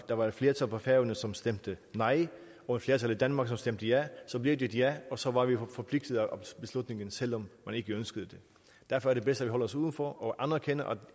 der var et flertal på færøerne som stemte nej og et flertal i danmark som stemte ja blev det et ja og så var vi forpligtet af beslutningen selv om man ikke ønskede det derfor er det bedst at vi holder os uden for og anerkender